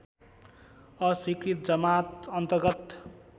अस्वीकृत जमात अन्तर्गत